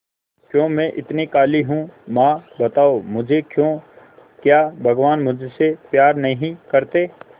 क्यों मैं इतनी काली हूं मां बताओ मुझे क्यों क्या भगवान मुझसे प्यार नहीं करते